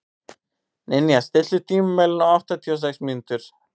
Ninja, stilltu tímamælinn á áttatíu og sex mínútur.